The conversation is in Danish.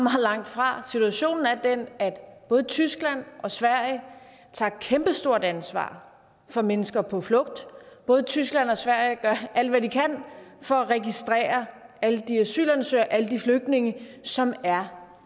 langtfra situationen er den at både tyskland og sverige tager et kæmpestort ansvar for mennesker på flugt både tyskland og sverige gør alt hvad de kan for at registrere alle de asylansøgere og alle de flygtninge som er